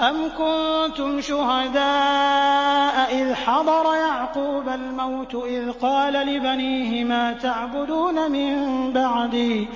أَمْ كُنتُمْ شُهَدَاءَ إِذْ حَضَرَ يَعْقُوبَ الْمَوْتُ إِذْ قَالَ لِبَنِيهِ مَا تَعْبُدُونَ مِن بَعْدِي